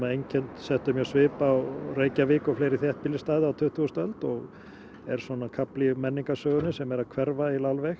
settu mjög svip á Reykjavík og fleiri þéttbýlisstaði á tuttugustu öld og er kafli í menningarsögunni sem er að hverfa alveg